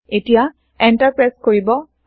এতিয়া enter press কৰিব